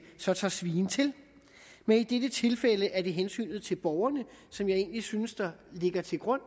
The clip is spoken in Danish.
tager svien til men i dette tilfælde er det hensynet til borgerne som jeg egentlig synes der ligger til grund